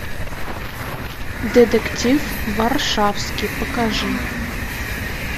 детектив варшавский покажи